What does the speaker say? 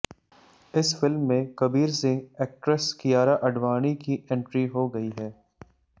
इस फिल्म में कबीर सिंह एक्ट्रेस कियारा आडवाणी की एंट्री हो गई है